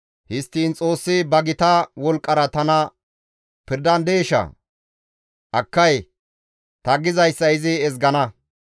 Histtiin Xoossi ba gita wolqqara tana pirdandeshaa? Akkay; ta gizayssa izi ezgana.